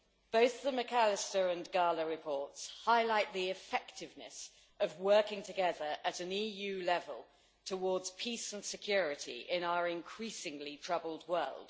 Both the McAllister and Gahler reports highlight the effectiveness of working together at an EU level towards peace and security in our increasingly troubled world.